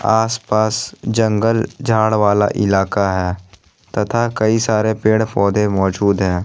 आसपास जंगल झाड़ वाला इलाका है तथा कई सारे पेड़-पौधे मौजूद है।